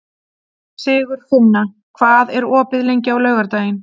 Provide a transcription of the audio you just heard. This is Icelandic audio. Sigurfinna, hvað er opið lengi á laugardaginn?